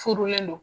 Furulen don